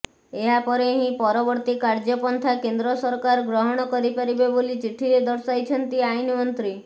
ଏହାପରେ ହିଁ ପରବର୍ତ୍ତୀ କାର୍ଯ୍ୟପନ୍ଥା କେନ୍ଦ୍ର ସରକାର ଗ୍ରହଣ କରିପାରିବେ ବୋଲି ଚିଠିରେ ଦର୍ଶାଇଛନ୍ତି ଆଇନମନ୍ତ୍ରୀ